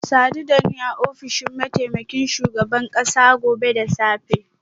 Ku sadu da ni a ofishin mataimakin shugaban kasa gobe da safe